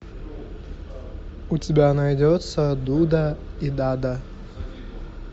у тебя найдется дуда и дада